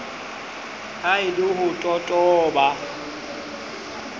ha e le ho totoba